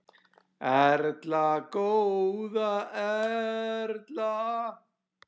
Erla góða Erla.